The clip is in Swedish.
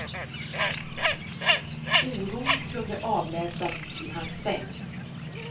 Oron kunde avläsas i hans säng.